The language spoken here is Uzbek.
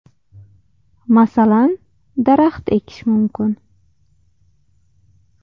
Masalan, daraxt ekish mumkin.